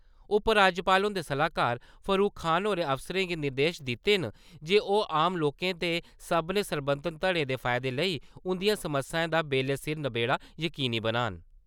उपराज्यपाल हुंदे सलाहकार फारूक खान होरें अफसरें गी निर्देश दित्ते न जे ओह् आम लोकें ते सब्भनें सरबंधत धड़ें दे फायदे लेई उंदियें समस्याएं दा बेल्लै सिर नबेड़ा जकीनी बनान ।